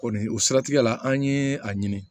Kɔni o siratigɛ la an ye a ɲini